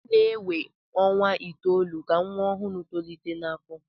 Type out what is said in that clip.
ọ na-ewe ọnwa itoolu ka nwa ọhụrụ tolite n'afọ